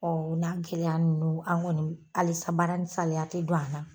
o n'a gɛlɛya ninnu an kɔni alisa baara nin saliya te don an na.